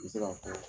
N bɛ se ka fɔ